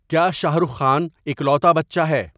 کیا شاہ رخ خان اکلوتا بچہ ہے